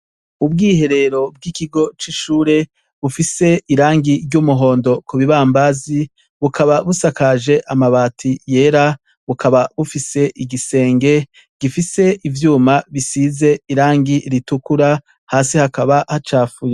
Ubwiherero bw' ikigo c' ishure bufise irangi ry' umuhondo bukaba busakaje amabati yera bukaba bufise igisenge gifise ivyuma bisize irangi ritukura hasi hakaba hacafuye.